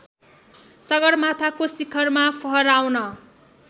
सगरमाथाको शिखरमा फहराउन